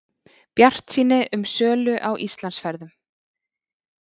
Bjartsýni um sölu á Íslandsferðum